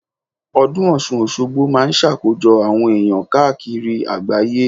Ọdún Ọ̀sun-Òsogbo máa ń sàkójọ àwọn èèyàn káàkiri àgbáyé